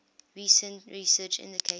recent research indicates